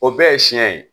O bɛɛ ye siɲɛ ye